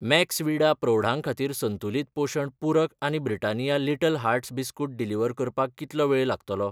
Maxvida प्रौढां खातीर संतुलित पोशण पूरक आनी Britannia Little Hearts biscuit deliver करपाक कितलो वेळ लागतलो ?